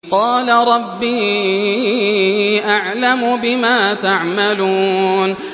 قَالَ رَبِّي أَعْلَمُ بِمَا تَعْمَلُونَ